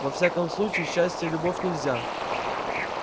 во всяком случае счастье и любовь нельзя